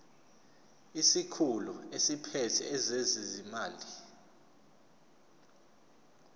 isikhulu esiphethe ezezimali